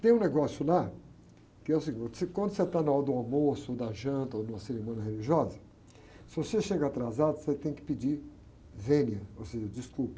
Tem um negócio lá, que é o seguinte, quando você está na hora do almoço, da janta, ou de uma cerimônia religiosa, se você chega atrasado, você tem que pedir vênia, ou seja, desculpa.